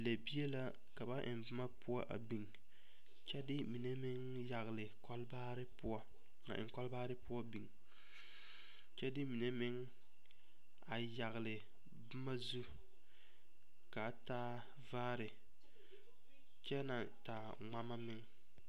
Lɛgebie la ka ba eŋ boma poɔ a biŋ kyɛ de mine meŋ yagle kolbaare poɔ a eŋ kolbaare poɔ biŋ kyɛ de mine meŋ a yagle toma zu ka a taa vaare kyɛ naŋ taa ŋmama meŋ.